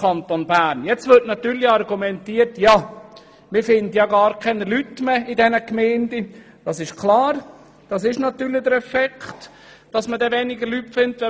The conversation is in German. Nun wird natürlich argumentiert, dass man in den Gemeinden gar keine Leute mehr finden würde.